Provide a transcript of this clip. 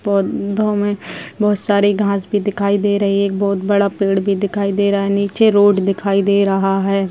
पौधों में बहोत सारी घास भी दिखाई दे रही है। एक बहोत बड़ा पेड़ भी दिखाई दे रहा है। नीचे रोड दिखाई दे रहा है।